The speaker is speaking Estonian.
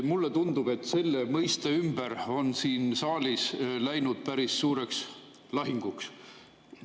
Mulle tundub, et selle mõiste ümber on siin saalis läinud päris suureks lahinguks.